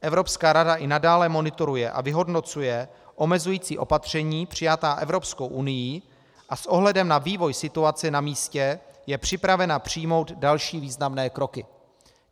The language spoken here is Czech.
Evropská rada i nadále monitoruje a vyhodnocuje omezující opatření přijatá Evropskou unií a s ohledem na vývoj situace na místě je připravena přijmout další významné kroky.